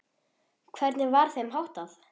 Hvernig var þeim háttað?